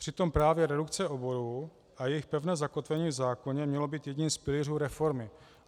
Přitom právě redukce oborů a jejich pevné zakotvení v zákoně mělo být jedním z pilířů reformy.